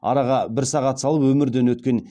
араға бір сағат салып өмірден өткен